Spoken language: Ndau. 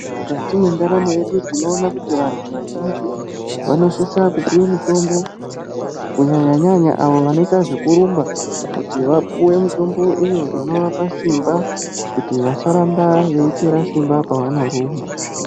Mukati mwendaramo yedu tinoona kuti vantu vazhinji vanosisa kupuwe mitombo kunyanya nyanya vanoita zvekurumba kuti vapuwe mutoutombo iyo inorapa simba kuti vasaramba veipera simba pavanorumba.